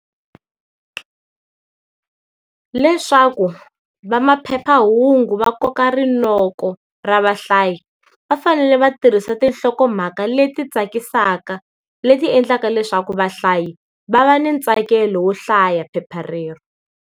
Leswaku va maphephahungu va koka rinoko ra vahlayi, va fanele va tirhisa tinhlokomhaka leti tsakisaka, leti endlaka leswaku vahlayi va va ni ntsakelo wo hlaya phepha rero.